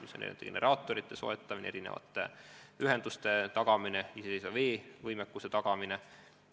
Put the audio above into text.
Jutt on eelkõige generaatorite soetamisest, erinevate ühenduste ja iseseisva vee võimekuse tagamisest.